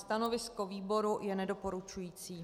Stanovisko výboru je nedoporučující.